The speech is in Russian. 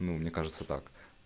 ну мне кажется так